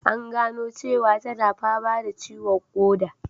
An gano cewa tana fama da ciwon koda